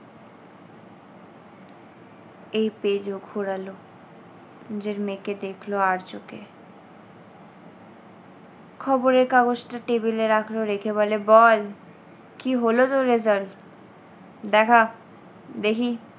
এই page ও ঘোরালো নিজের মেয়েকে দেখল আড় চোখে, খবরের কাগজটা table এ রাখল, রেখে বলে বল কী হলো তোর result দেখা দেখি।